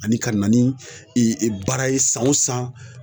Ani ka na ni baara ye san o san